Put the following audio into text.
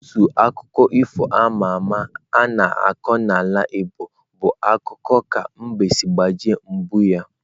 Otu akụkọ ifo ama ama a na-akọ n'ala Igbo bụ akụkọ ka mbe siri gbajie mgbọ ya.